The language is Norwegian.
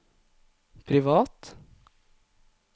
privat